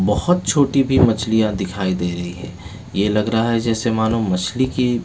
बहुत छोटी भी मछलियां दिखाई दे रही है ये लग रहा है जैसे मानो मछली की--